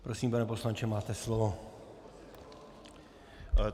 Prosím, pane poslanče, máte slovo.